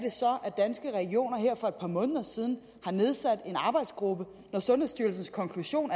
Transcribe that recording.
danske regioner her for et par måneder siden har nedsat en arbejdsgruppe når sundhedsstyrelsens konklusion